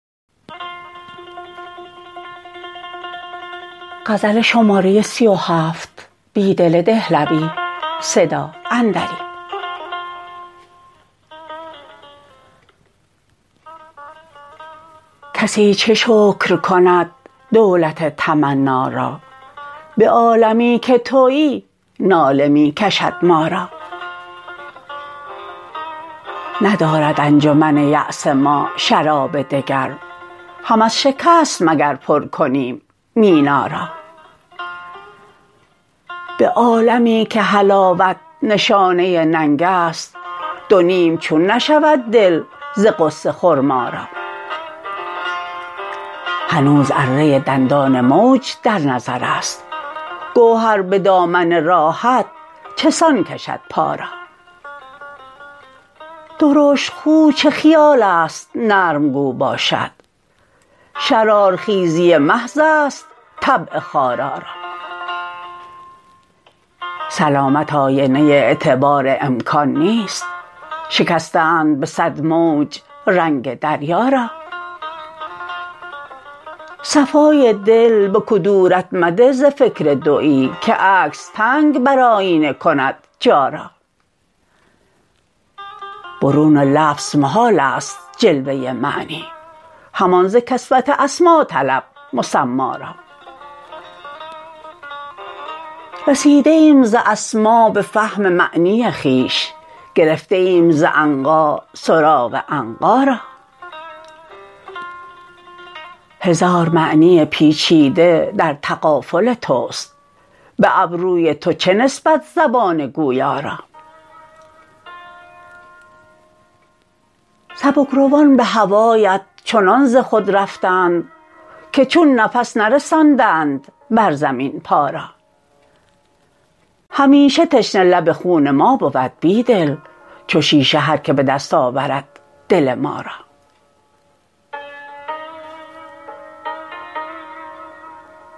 کسی چه شکر کند دولت تمنا را به عالمی که تویی ناله می کشد ما را ندارد انجمن یأس ما شراب دگر هم از شکست مگر پر کنیم مینا را به عالمی که حلاوت نشانه ننگ است دونیم چون نشود دل ز غصه خرما را هنوز اره دندان موج در نظر است گهر به دامن راحت چسان کشد پا را درشت خو چه خیال است نرم گو باشد شرارخیزی محض است طبع خارا را سلامت آینه اعتبار امکان نیست شکسته اند به صد موج رنگ دریا را صفای دل به کدورت مده ز فکر دویی که عکس تنگ بر آیینه میکند جا را برون لفظ محال است جلوه معنی همان ز کسوت اسما طلب مسما را رسیده ایم ز اسما به فهم معنی خویش گرفته ایم ز عنقا سراغ عنقا را هزار معنی پیچیده در تغافل توست به ابروی تو چه نسبت زبان گویا را سبکروان به هوایت چنان ز خود رفتند که چون نفس نرساندند بر زمین پا را همیشه تشنه لب خون ما بود بیدل چو شیشه هر که به دست آورد دل ما را